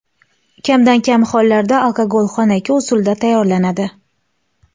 Kamdan-kam hollarda alkogol xonaki usulda tayyorlanadi.